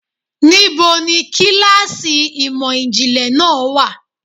Níbo ni kíláàsì ìmò ìjìnlẹ̀ náà wà?